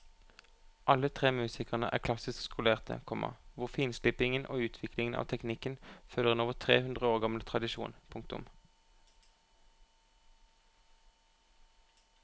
Alle tre musikerne er klassisk skolerte, komma hvor finslipingen og utviklingen av teknikken følger en over tre hundre år gammel tradisjon. punktum